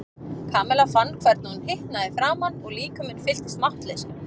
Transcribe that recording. Kamilla fann hvernig hún hitnaði í framan og líkaminn fylltist máttleysi.